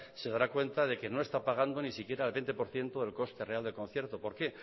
se dará cuenta de que no está pagando ni siquiera el veinte por ciento del coste real del concierto por qué